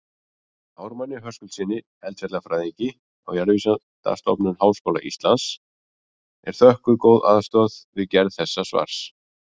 Ármanni Höskuldssyni eldfjallafræðingi á Jarðvísindastofnun HÍ er þökkuð góð aðstoð við gerð þessa svars.